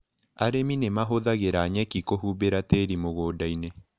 Arĩmi nĩmahũthĩraga nyeki kũhumbĩra tĩri mũgundainĩ.